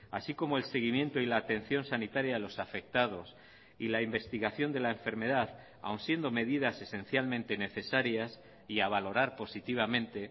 así como el seguimiento y la atención sanitaria a los afectados y la investigación de la enfermedad aun siendo medidas esencialmente necesarias y a valorar positivamente